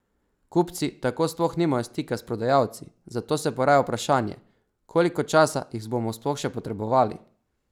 Kupci tako sploh nimajo stika s prodajalci, zato se poraja vprašanje, koliko časa jih bomo sploh še potrebovali?